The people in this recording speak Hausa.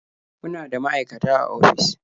Muna da maaikata a ofis.